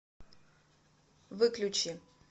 выключи